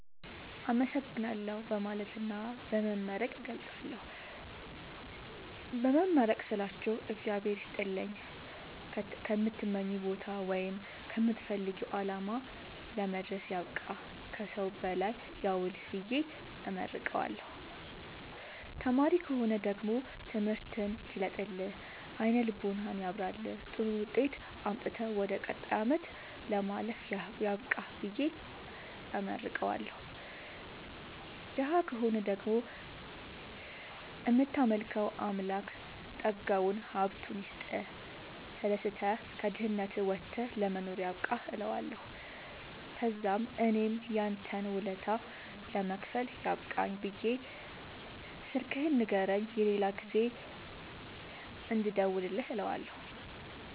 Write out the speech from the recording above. አመሠግናለሁ በማለትና በመመረቅ እገልፃለሁ። በመመረቅ ስላችሁ እግዚአብሄር ይስጥልኝ ከምትመኘዉ ቦታወይም ከምትፈልገዉ አላማ ለመድረስያብቃህ ከሠዉ በላይ ያዉልህብየ እመርቀዋለሁ። ተማሪ ከሆነ ደግሞ ትምህርትህን ይግለጥልህ አይነ ልቦናህን ያብራልህ ጥሩዉጤት አምጥተህ ወደ ቀጣይ አመት ለማለፍ ያብቃህ ብየ እመርቀዋለሁ። ደሀ ከሆነ ደግሞ እምታመልከዉ አምላክ ጠጋዉን ሀብቱይስጥህ ተደስተህ ከድህነት ወተህ ለመኖር ያብቃህእለዋለሁ። ተዛምእኔም ያንተን ወለታ ለመክፈል ያብቃኝ ብየ ስልክህን ንገረኝ የሌላ ጊዜ እንድደዉልልህ እለዋለሁ